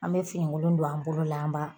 An bɛ finikolon don an bolo an b'a